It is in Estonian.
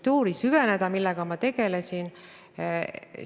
Te viitasite sellele, et ei pea muretsema selle pärast, kuidas ajalehed kohale jõuavad.